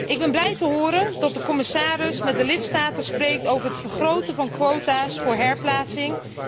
Ik ben blij te horen dat de commissaris met de lidstaten spreekt over het vergroten van quota's voor herplaatsing.